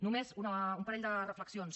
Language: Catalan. només un parell de reflexions